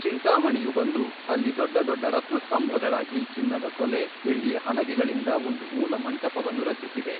ಚಿಂತಾಮಣಿಯು ಬಂದು ಅಲ್ಲಿ ದೊಡ್ಡ ದೊಡ್ಡ ರತ್ನಸ್ತಂಭಗಳಾಗಿ ಚಿನ್ನದ ತೊಲೆ ಬೆಳ್ಳಿಯ ಹಲಗೆಗಳಿಂದ ಒಂದು ಮೂಲಮಂಟಪವನ್ನು ರಚಿಸಿದೆ.